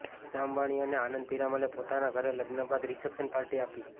ઈશા અંબાણી અને આનંદ પિરામલે પોતાના ઘરે લગ્ન બાદ રિસેપ્શન પાર્ટી આપી